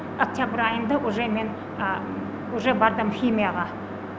октябрь айында уже мен уже бардым химияға